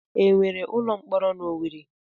E nwere ụlọ mkpọrọ n'Owere?